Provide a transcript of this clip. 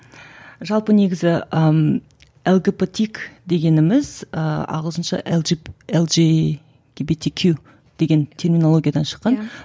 жалпы негізі ыыы лгбтик дегеніміз ы ағылшынша эл жиб эл жи ге би ти кю деген терминологиядан шыққан иә